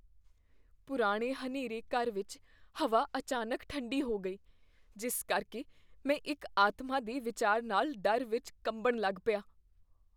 ਪੁਰਾਣੇ ਹਨੇਰੇ ਘਰ ਵਿੱਚ ਹਵਾ ਅਚਾਨਕ ਠੰਡੀ ਹੋ ਗਈ, ਜਿਸ ਕਰਕੇ ਮੈਂ ਇੱਕ ਆਤਮਾ ਦੇ ਵਿਚਾਰ ਨਾਲ ਡਰ ਵਿੱਚ ਕੰਬਣ ਲੱਗ ਪਿਆ।